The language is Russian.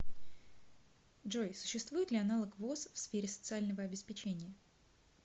джой существует ли аналог воз в сфере социального обеспечения